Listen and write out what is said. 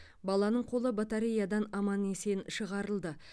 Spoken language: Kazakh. баланың қолы батареядан аман есен шығарылды